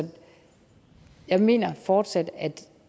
jeg mener fortsat at